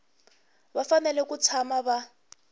va fanele ku tshama va